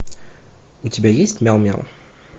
у тебя есть мяу мяу